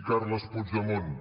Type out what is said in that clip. i carles puigdemont